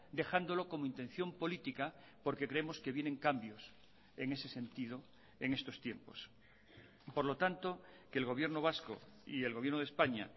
dejándolo como intención política porque creemos que vienen cambios en ese sentido en estos tiempos por lo tanto que el gobierno vasco y el gobierno de españa